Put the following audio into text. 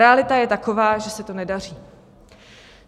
Realita je taková, že se to nedaří.